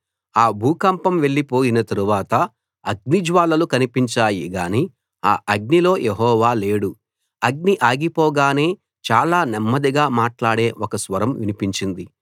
ఆ భూకంపం వెళ్ళిపోయిన తరువాత అగ్ని జ్వాలలు కన్పించాయి గాని ఆ అగ్నిలో యెహోవా లేడు అగ్ని ఆగిపోగానే చాలా నెమ్మదిగా మాట్లాడే ఒక స్వరం వినిపించింది